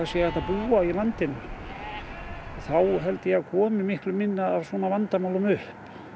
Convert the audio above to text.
sé hægt að búa á landinu þá held ég að það komi miklu færri svona vandamál upp